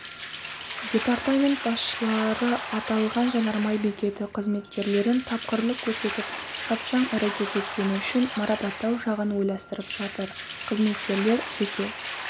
департамент басшыларыаталған жанармай бекеті қызметкерлерінтапқырлық көрсетіп шапшаң әрекет еткені үшін марапаттау жағын ойластырып жатыр қызметкерлер жеке